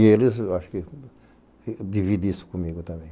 E eles acho que dividem isso comigo também.